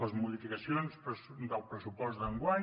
les modificacions del pressupost d’enguany